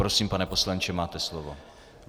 Prosím, pane poslanče, máte slovo.